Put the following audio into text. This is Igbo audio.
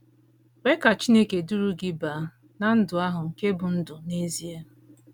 Kwe Ka Chineke Duru Gị Baa ná “ Ndụ ahụ Nke Bụ́ Ndụ n’Ezie ”